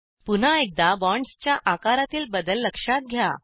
पुन्हा एकदा बॉन्डसच्या आकारातील बदल लक्षात घ्या